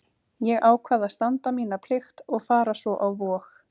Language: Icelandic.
Ég ákvað að standa mína plikt og fara svo á Vog.